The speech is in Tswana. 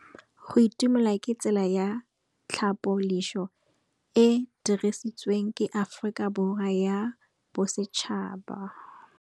Go itumela ke tsela ya tlhapolisô e e dirisitsweng ke Aforika Borwa ya Bosetšhaba.